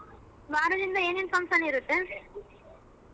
ನಾಳೆಯಿಂದ ಏನೇನ್ function ಇರುತ್ತೆ.